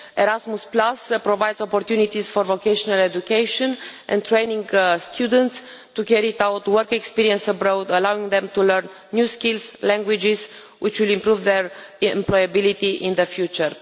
Erasmus provides opportunities for vocational education and training for students to carry out work experience abroad, allowing them to learn new skills and languages which will improve their employability in the future.